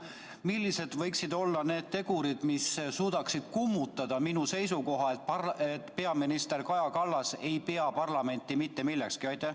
Millised võiksid olla need tegurid, mis suudaksid kummutada minu seisukoha, et peaminister Kaja Kallas ei pea parlamenti mitte millekski?